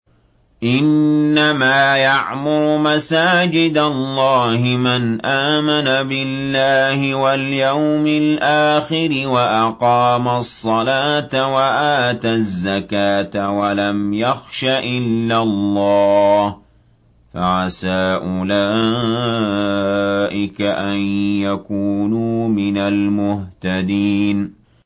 إِنَّمَا يَعْمُرُ مَسَاجِدَ اللَّهِ مَنْ آمَنَ بِاللَّهِ وَالْيَوْمِ الْآخِرِ وَأَقَامَ الصَّلَاةَ وَآتَى الزَّكَاةَ وَلَمْ يَخْشَ إِلَّا اللَّهَ ۖ فَعَسَىٰ أُولَٰئِكَ أَن يَكُونُوا مِنَ الْمُهْتَدِينَ